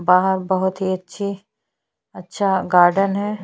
बाहर बहुत ही अच्छे अच्छा गार्डन है।